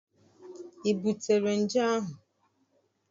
I butere nje ahụ?